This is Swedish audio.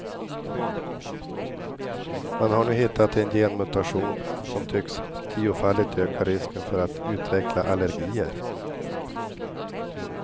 Man har nu hittat en genmutation som tycks tiofaldigt öka risken för att utveckla allergier.